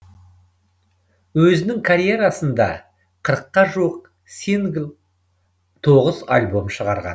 өзінің карьерасында қырыққа жуық сингл тоғыз альбом шығарған